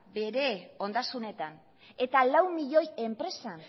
bere ondasunetan eta lau miloi enpresan